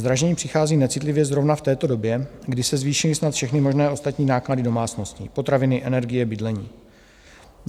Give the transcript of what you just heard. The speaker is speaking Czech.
Zdražení přichází necitlivě zrovna v této době, kdy se zvýšily snad všechny možné ostatní náklady domácností: potraviny, energie, bydlení.